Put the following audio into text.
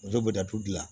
U bɛ datugu gilan